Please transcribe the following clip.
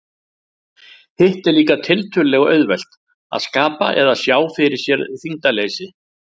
Hitt er líka tiltölulega auðvelt, að skapa eða sjá fyrir sér þyngdarleysi.